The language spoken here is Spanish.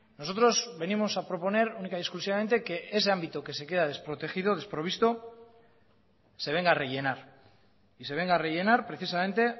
nosotros venimos a proponer única y exclusivamente que ese ámbito que se queda desprotegido desprovisto se venga a rellenar y se venga a rellenar precisamente